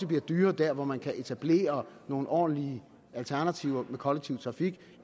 være dyrere der hvor man kan etablere nogle ordentlige alternativer med kollektiv trafik